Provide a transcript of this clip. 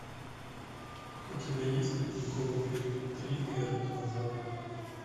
у тебя есть ледниковый период три эра динозавров